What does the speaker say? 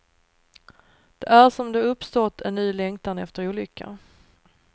Det är som om det uppstått en ny längtan efter olycka.